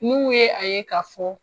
N'u ye a ye ka fɔ